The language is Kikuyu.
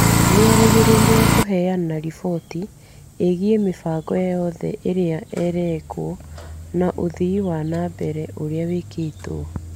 Nĩ erĩgagĩrĩrwo kũheana riboti ĩgiĩ mĩbango yothe ĩrĩa ĩrekwo na ũthii wa na mbere ũrĩa wĩkĩtwo.